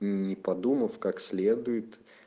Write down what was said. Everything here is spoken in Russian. не подумав как следует